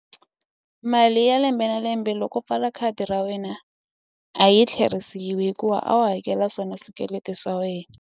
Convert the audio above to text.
Mali ya lembe na lembe loko pfala khadi ra wena a yi tlherisiwi hikuva a wu hakela swona swikweleti swa wena.